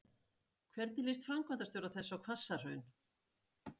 Hvernig líst framkvæmdastjóra þess á Hvassahraun?